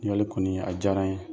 Ɲininkali kɔni a diyara n ye